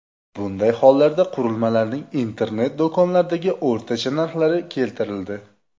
Bunday hollarda qurilmalarning internet-do‘konlardagi o‘rtacha narxlari keltirildi.